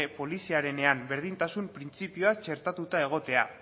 poliziarenean berdintasun printzipioa txertatuta egotea